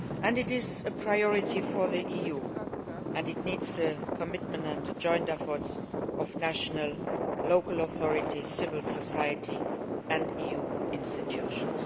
It is a priority for the EU and it needs commitment and the joint efforts of national and local authorities, civil society and the EU institutions.